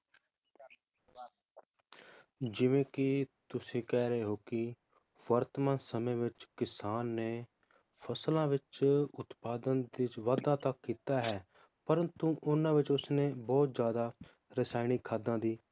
ਜਿਵੇ ਕੀ ਤੁਸੀਂ ਕਹਿ ਰਹੇ ਹੋ ਕੀ ਵਰਤਮਾਨ ਸਮੇ ਵਿਚ ਕਿਸਾਨ ਨੇ ਫਸਲਾਂ ਵਿਚ ਉਤਪਾਦਨ ਵਿਚ ਵਾਧਾ ਤਾਂ ਕੀਤਾ ਹੈ, ਪ੍ਰੰਤੂ ਉਹਨਾਂ ਵਿਚ ਉਸਨੇ ਬਹੁਤ ਜ਼ਿਆਦਾ ਰਸਾਇਣਿਕ ਖਾਦਾਂ ਦੀ